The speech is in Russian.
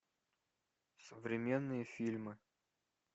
современные фильмы